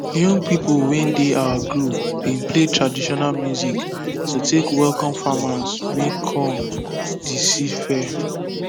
young people wey dey our group bin play traditional music to take welcome farmers wey come de seed fair